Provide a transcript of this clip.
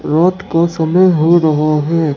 रात का समय हो रहा है।